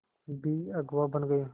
भी अगुवा बन गए